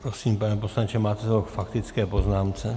Prosím, pane poslanče, máte slovo k faktické poznámce.